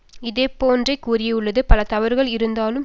இதே போன்றே கூறியுள்ளது பல தவறுகள் இருந்தாலும் சதாம்